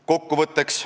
Kokkuvõtteks.